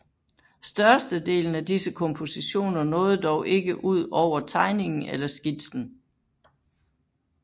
Største delen af disse kompositioner nåede dog ikke ud over tegningen eller skitsen